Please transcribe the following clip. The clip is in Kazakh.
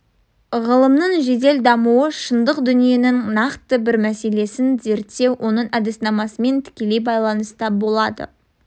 ғылымның жедел дамуы шындық дүниенің нақты бір мәселесін зерттеу оның әдіснамасымен тікелей байланыста болады